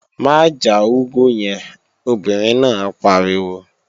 Má já úgú yẹn, obìnrin náà pariwo!